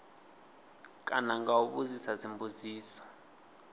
kana nga u vhudzisa dzimbudziso